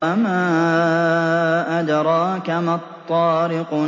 وَمَا أَدْرَاكَ مَا الطَّارِقُ